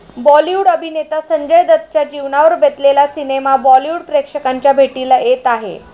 बॉलिवूड अभिनेता संजय दत्तच्या जीवनावर बेतलेला सिनेमा बॉलिवूड प्रेक्षकांच्या भेटीला येत आहे.